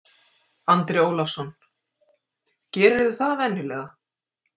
Andri Ólafsson: Gerirðu það venjulega?